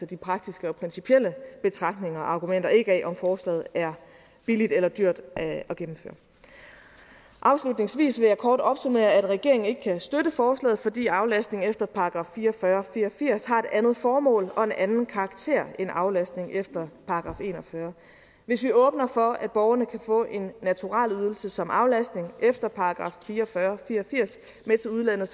de praktiske og principielle betragtninger og argumenter afhænger ikke af om forslaget er billigt eller dyrt at gennemføre afslutningsvis vil jeg kort opsummere at regeringen ikke kan støtte forslaget fordi aflastning efter § fire og fyrre fire og firs har et andet formål og en anden karakter end aflastning efter § en og fyrre hvis vi åbner for at borgerne kan få en naturalieydelse som aflastning efter § fire og fyrre fire og firs med til udlandet